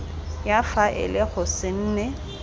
ya faele go se nne